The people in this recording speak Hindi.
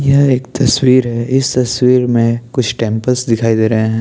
यह एक तस्वीर है इस तस्वीर में कुछ टेम्पल्स दिखाई दे रहे है।